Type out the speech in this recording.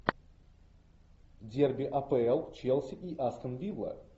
дерби апл челси и астон вилла